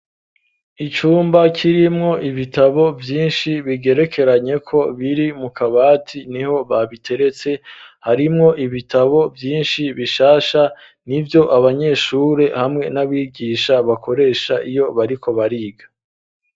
Icumba kirimwo ibitabo, vyinshi ,bigerekeranye ko ,biri mu kabati niho babiteretse ,harimwo ibitabo, vyinshi bishasha, nivyo abanyeshure hamwe n'abigisha, bakoresha iyo bariko bariga.